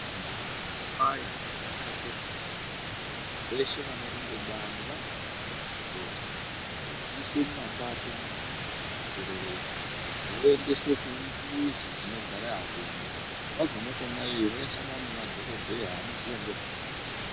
Vantu vanotwaya nekushate pfungwa veshe vanorumba bani vanofane kukokorodzwa vobviswera veinzerereka. Voendeswe kumizi dzinogare apengo vagume kona iyo vachasangana nemadhogodheya anoziya ngezvemitombo.